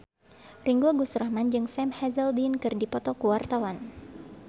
Ringgo Agus Rahman jeung Sam Hazeldine keur dipoto ku wartawan